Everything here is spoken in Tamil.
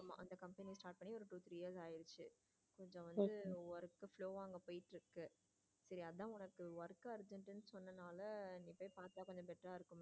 two three years ஆகிடுச்சு அதுல வந்து work slow வா போயிட்டு இருக்கு சரி அதான் உனக்கு work argent சொன்னதுனால நீ போய் பார்த்தா கொஞ்சம் better ஆ இருக்கும்.